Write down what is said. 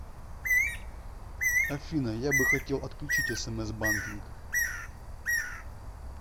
афина я бы хотел отключить смс банкинг